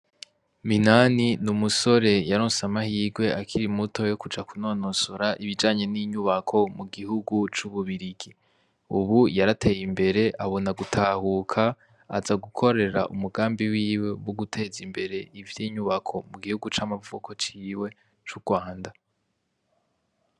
Minani ni umusore yaronse amahirwe akiri muto yo kuja kunonosora ibijanye n'inyubako mu gihugu c'ububirigi. Ubu yarateye imbere abona gutahuka aza gukorera umugambi wiwe wo guteza imbere ivy'inyubako mu gihugu c'amavuko ciwe c'urwanda.